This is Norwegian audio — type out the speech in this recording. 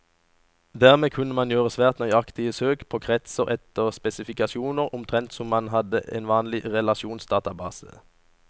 Dermed kunne man gjøre svært nøyaktige søk på kretser etter spesifikasjoner, omtrent som om man hadde en vanlig relasjonsdatabase.